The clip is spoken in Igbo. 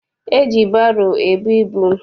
E ji baro ebu ibu.